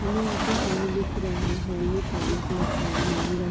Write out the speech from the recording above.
हमे यहाँ पे हॉल दिख रहा है। हॉल में काले कलर का अलमारी र--